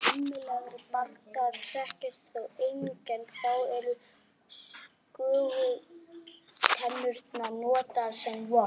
Grimmilegri bardagar þekkjast þó einnig en þá eru skögultennurnar notaðar sem vopn.